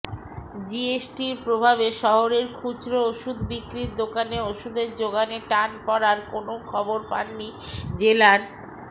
জিএসটির প্রভাবে শহরের খুচরো ওষুধ বিক্রির দোকানে ওষুধের যোগানে টান পড়ার কোনও খবর পাননি জেলার